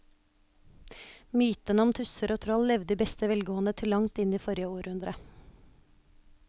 Mytene om tusser og troll levde i beste velgående til langt inn i forrige århundre.